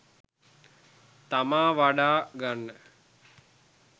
තමා වඩා ගන්න